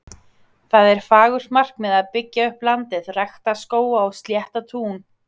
Það er fagurt markmið að byggja upp landið, rækta skóga og slétta tún.